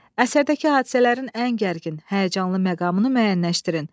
Əsərdəki hadisələrin ən gərgin, həyəcanlı məqamını müəyyənləşdirin.